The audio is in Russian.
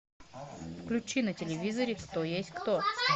включи на телевизоре кто есть кто